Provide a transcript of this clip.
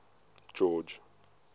george